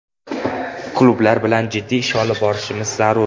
Klublar bilan jiddiy ish olib borishimiz zarur.